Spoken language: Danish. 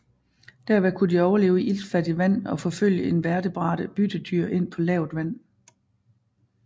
Derved kunne de overleve i iltfattigt vand eller forfølge invertebrate byttedyr ind på lavt vand